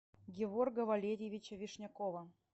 геворга валерьевича вишнякова